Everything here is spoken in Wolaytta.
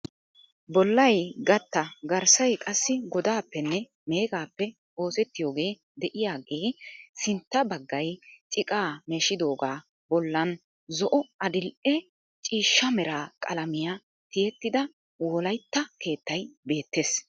Bollay gatta garssay qassi godaappenne meegaappe oosettiyoogee de"iyaagee sintta bagay ciqaa meeshidoogaa bollan zo"o adi''e ciishsha mera qalamiya tiyettida wolayitta keettay beettes.